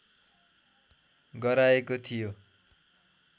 गराएको थियो